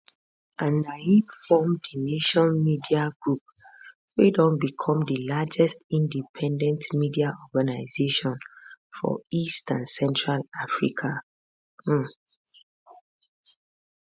and na im form the nation media group wey don become di largest independent media organisation for east and central africa um